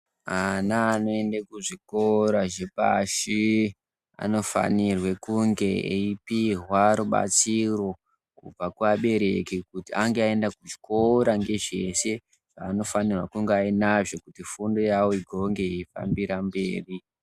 Ana anoende kuzvikora zvepashi anofanire kunge eipihwa rubatsiro kubva kuabereki, kuti ange aenda kuchikora ngezveshe zvaanofanirwa kunge ainazvo kuti fundo yawo igonge yeifambira mberi.